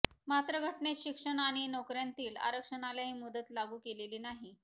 मात्र घटनेत शिक्षण आणि नोकऱयांतील आरक्षणाला ही मुदत लागू केलेली नाही